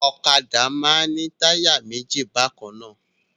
Ọ̀kadà máa ń ní táyà méjì bákan náà.